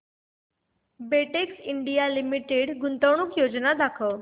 Betex India limited गुंतवणूक योजना दाखव